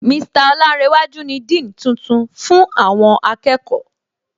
Mr Olánréwájú ni Dean tuntun fún àwọn akẹ́kọ̀ọ́